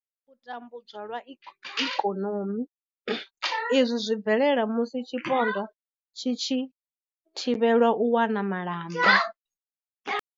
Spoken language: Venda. U tambudzwa lwa ikonomi. Izwi zwi bvelela musi tshipondwa tshi tshi thivhelwa u wana malamba.